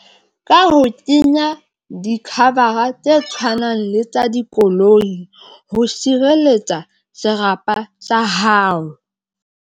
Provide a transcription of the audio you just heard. Ka ho kenya di-cover tse tshwanang le tsa dikoloi ho sireletsa serapa sa hao.